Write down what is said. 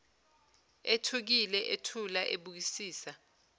ethukile uthula ebukisisa